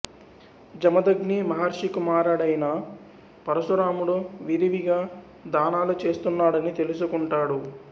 జమదగ్ని మహర్షి కుమారుడైన పరశురాముడు విరివిగా దానాలు చేస్తున్నాడని తెలుసుకుంటాడు